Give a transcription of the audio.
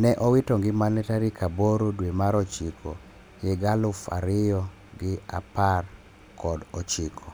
ne owito ngimane tarik aboro dwe mar ochiko higa aluf ariyo gi apar kod ochiko.